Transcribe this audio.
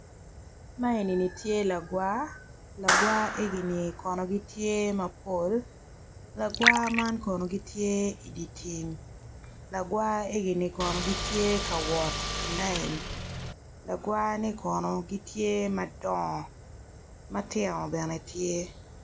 Ma eni tye lagwar, lagwar egini kono gitye mapol lagwar eni kono gitye i dye tim lagwar egini kono gitye ka wot i layin lagwar ni kono gitye madongo ma tino bene tye.